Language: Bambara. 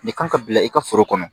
Nin kan ka bila i ka foro kɔnɔ